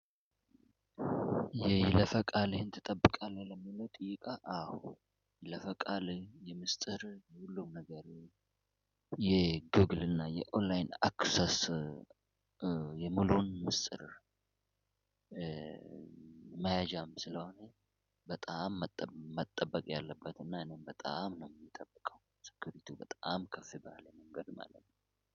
የይለፈቃልህን ትጠብቃለህ ለሚለው ጥይቃ? አዎ ይለፈቃለ የምስጢር ሁሉም ነገር የጉግል እና የኦንላይን አክሰስ የሙሉን ምስጥር መያዣም ስለሆነ በጣም መጠበቅ ያለበት እና እኔም በጣም ነው የምጠብቀው። ስክሪቱ በጣም ከፍ ባለ መንገድ ማለት ነው።